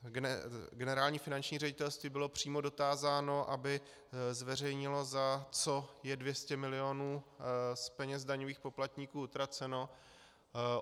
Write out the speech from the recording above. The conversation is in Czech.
Generální finanční ředitelství bylo přímo dotázáno, aby zveřejnilo, za co je 200 milionů z peněz daňových poplatníků utraceno.